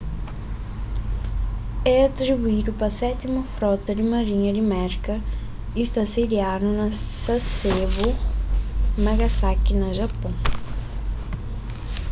é atribuídu pa sétimu frota di marinha di merka y sta sediadu na sasebo nagasaki na japôn